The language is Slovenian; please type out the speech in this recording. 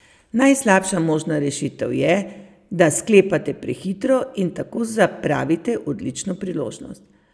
Najslabša možna rešitev je, da sklepate prehitro in tako zapravite odlično priložnost.